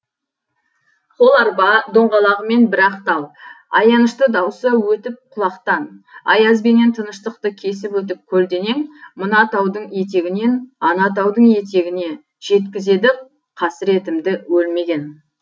қол арба доңғалағымен бір ақ тал аянышты дауысы өтіп құлақтан аяз бенен тыныштықты кесіп өтіп көлденең мына таудың етегінен ана таудың етегіне жеткізеді қасіретімді өлмеген